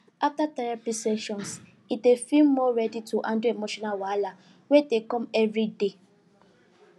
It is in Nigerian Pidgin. after therapy sessions he dey feel more ready to handle emotional wahala wey dey come every day